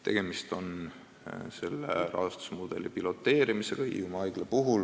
Tegemist on sellise rahastusmudeli piloteerimisega Hiiumaa haiglas.